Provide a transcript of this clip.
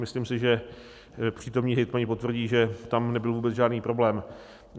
Myslím si, že přítomní hejtmani potvrdí, že tam nebyl vůbec žádný problém.